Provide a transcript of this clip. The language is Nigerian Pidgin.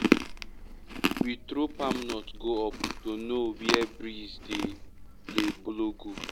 we throw palm nut go up to know where breeze dey dey blow go.